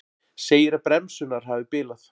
Segir að bremsurnar hafi bilað